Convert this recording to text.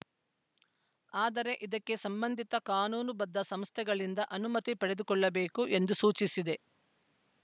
ಆದರೆ ಇದಕ್ಕೆ ಸಂಬಂಧಿತ ಕಾನೂನು ಬದ್ಧ ಸಂಸ್ಥೆಗಳಿಂದ ಅನುಮತಿ ಪಡೆದುಕೊಳ್ಳಬೇಕು ಎಂದು ಸೂಚಿಸಿದೆ